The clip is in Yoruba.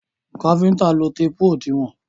Káfíntà ń lo téèpù òdiwọ́n.